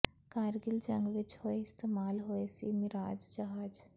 ਕਾਰਗਿਲ ਜੰਗ ਵਿਚ ਹੋਏ ਇਸਤੇਮਾਲ ਹੋਏ ਸੀ ਮਿਰਾਜ ਜਹਾਜ਼